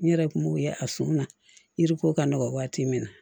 N yɛrɛ kun b'o ye a sun na yiri ko ka nɔgɔ waati min na